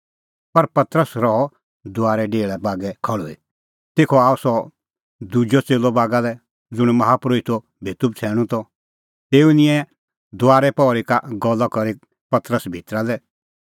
पर पतरस रहअ दुआरे डेहल़ा बागै खल़्हुई तेखअ आअ सह दुजअ च़ेल्लअ बागा लै ज़ुंण माहा परोहितो भेतू बछ़ैणूं त तेऊ निंयं दुआरे पहरी का गल्ला करी करै पतरस भितरा लै